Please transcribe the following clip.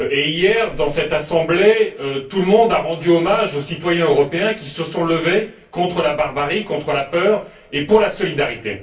Hier, dans cette Assemblée, tout le monde a rendu hommage aux citoyens européens qui se sont levés contre la barbarie, contre la peur et pour la solidarité.